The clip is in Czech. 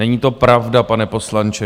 Není to pravda, pane poslanče.